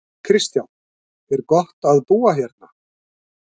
Kristján: Er gott að búa hérna?